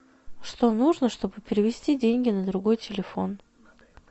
что нужно чтобы перевести деньги на другой телефон